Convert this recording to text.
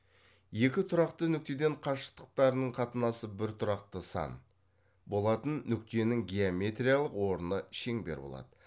екі тұрақты нүктеден қашықтықтарының қатынасы бір тұрақты сан болатын нүктенің геометриялық орны шеңбер болады